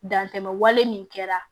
Dantɛmɛ wale min kɛra